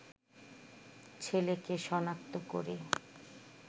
ছেলেকে শনাক্ত করে